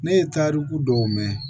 Ne ye tariku dɔw mɛn